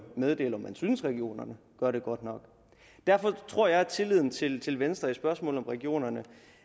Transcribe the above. meddele om man synes at regionerne gør det godt nok derfor tror jeg at tilliden til til venstre i spørgsmålet om regionerne